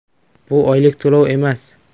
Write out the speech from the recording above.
Bu oylik to‘lov emas.